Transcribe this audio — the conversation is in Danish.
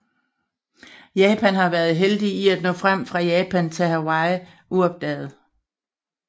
Japan havde været heldige i at nå frem fra Japan til Hawaii uopdaget